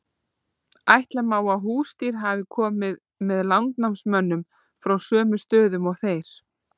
ætla má að húsdýr hafi komið með landnámsmönnum frá sömu stöðum og þeir